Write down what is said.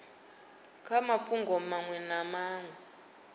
kha mafhungo maṅwe na maṅwe